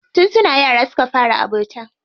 Tun suna yara suka fara abota.